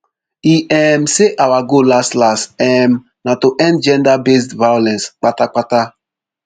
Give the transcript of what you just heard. e um say our goal laslas um na to end genderbased violence patapata